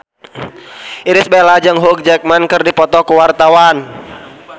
Irish Bella jeung Hugh Jackman keur dipoto ku wartawan